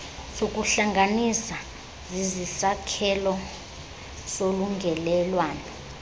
zokuhlanganisa zisisakhelo solungelelwaniso